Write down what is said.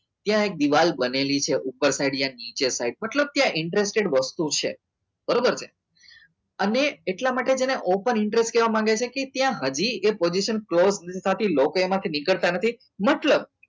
દિવાલ બનેલી છે ઉપર side યા નીચેની side મતલબ ત્યાં interested વસ્તુ છે બરોબર ને અને એટલા માટે તેને open interest કેવા માંગે છે કે ત્યાં હજી એ position close માંથી નીકળતા નથી મતલબ